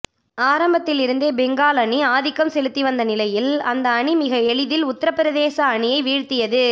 ஆரம்பத்திலிருந்தே பெங்கால் அணி ஆதிக்கம் செலுத்தி வந்த நிலையில் அந்த அணி மிக எளிதில் உத்தரபிரதேச அணியை வீழ்த்தியது